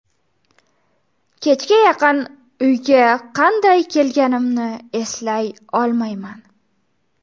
Kechga yaqin uyga qanday kelganimni eslay olmayman.